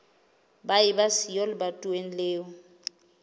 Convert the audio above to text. ba eba siyo lebatoweng leo